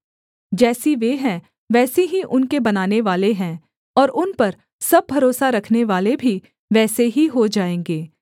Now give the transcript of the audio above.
जैसी वे हैं वैसे ही उनके बनानेवाले हैं और उन पर सब भरोसा रखनेवाले भी वैसे ही हो जाएँगे